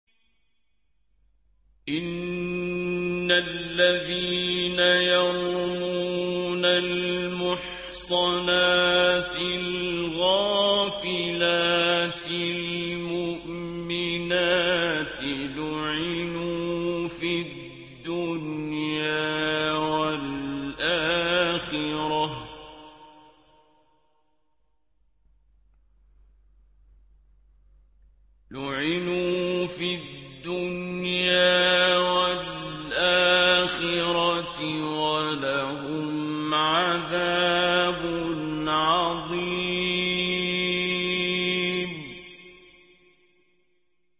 إِنَّ الَّذِينَ يَرْمُونَ الْمُحْصَنَاتِ الْغَافِلَاتِ الْمُؤْمِنَاتِ لُعِنُوا فِي الدُّنْيَا وَالْآخِرَةِ وَلَهُمْ عَذَابٌ عَظِيمٌ